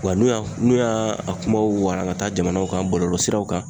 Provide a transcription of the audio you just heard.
Wa n'u y'a n'u y'a a kumaw wara ka taa jamanaw kan bɔlɔlɔsiraw kan